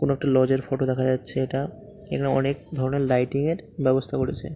কোনো একটা লজ -এর ফটো দেখা যাচ্ছে এটা। এখানে অনেক ধরনের লাইটিং -এর ব্যবস্থা করেছে।